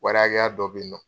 Wɔri hakɛya dɔ be yen nɔ